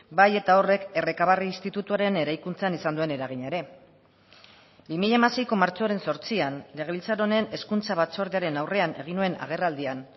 bai eta horrek errekabarri institutuaren eraikuntzan izan duen eragina ere bi mila hamaseiko martxoaren zortzian legebiltzar honen hezkuntza batzordearen aurrean egin nuen agerraldian